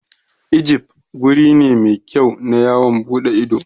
Ijif guri ne mai kyau na yawon ɓuɗe ido.